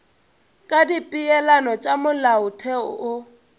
ka dipeelano tša molaotheo wo